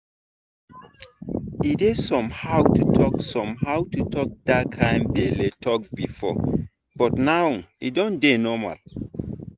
e dey somehow to talk somehow to talk that kind belle talk before but now e don dey normal.